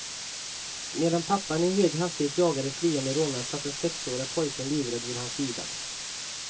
Medan pappan i hög hastighet jagade de flyende rånarna satt den sexårige pojken livrädd vid hans sida.